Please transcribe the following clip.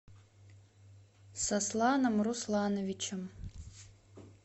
сосланом руслановичем